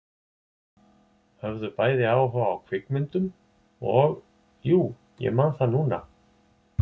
Höfðu bæði áhuga á kvikmyndum og- jú, ég man það núna